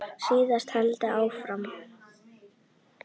Síðan heldur hann áfram.